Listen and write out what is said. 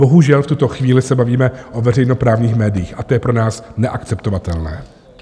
Bohužel v tuto chvíli se bavíme o veřejnoprávních médiích a to je pro nás neakceptovatelné.